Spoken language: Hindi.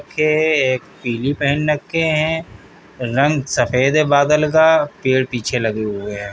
के एक पीली पहन रखे है। रंग सफेद है बादल का। पेड़ पीछे लगे हुए है।